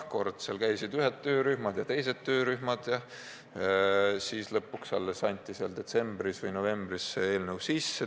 Koos käisid ühed töörühmad ja teised töörühmad ja lõpuks novembris või detsembris anti see eelnõu üle.